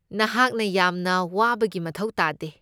ꯅꯍꯥꯛꯅ ꯌꯥꯝꯅ ꯋꯥꯕꯒꯤ ꯃꯊꯧ ꯇꯥꯗꯦ!